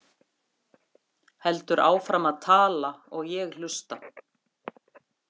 Heldur áfram að tala og ég hlusta.